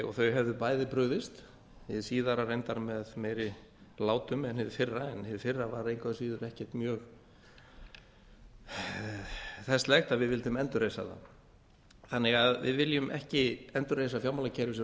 og þau hefðu bæðu brugðist hið síðara reyndar með meiri látum en hið fyrra en hið fyrra var engu að síður ekkert mjög þesslegt að við vildum endurreisa það við viljum ekki endurreisa fjármálakerfið sem